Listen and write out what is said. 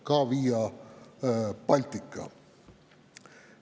Ka Via Baltica.